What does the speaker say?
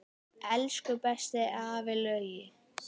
Elsku besti afi Laugi.